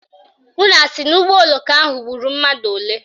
Unu asị na ụgbọoloko ahụ gburu mmadụ ole?